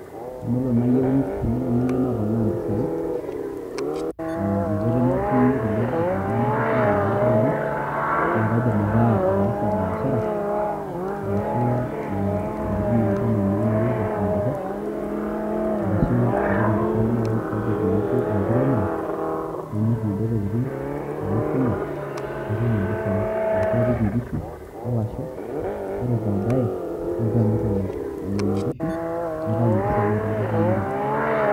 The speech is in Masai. Tenelo nayieu naponaa mpisai, ah enkoitoi natumie nkulie ropiyaiani napikie yieunot ainei, na kaidim ake ataasa biashara, arashu intokitin naba enaa namiri tesaa dorrop. Arashu apik impisai nai project naijo enkiremore, namir inaduo tokiting',nai vuna ,natum impisai. Ashu apik inkishu o lasho, ore badae nalotu amir nena kishu, naitau impisai etaa etoponari.